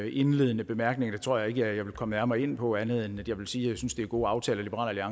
indledende bemærkning tror jeg ikke jeg vil komme nærmere ind på andet end at jeg vil sige synes det er gode aftaler liberal